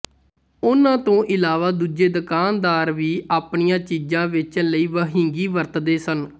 ਉਹਨਾਂ ਤੋਂ ਇਲਾਵਾ ਦੂਜੇ ਦੁਕਾਨਦਾਰ ਵੀ ਆਪਣੀਆਂ ਚੀਜ਼ਾਂ ਵੇਚਣ ਲਈ ਵਹਿੰਗੀ ਵਰਤਦੇ ਸਨ